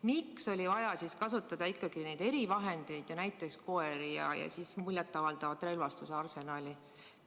Miks oli vaja kasutada erivahendeid ja näiteks koeri ja muljet avaldavat relvastuse arsenali?